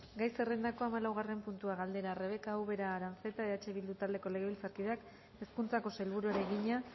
gai zerrendako hamalaugarren puntua galdera rebeka ubera aranzeta eh bildu taldeko legebiltzarkideak hezkuntzako sailburuari egina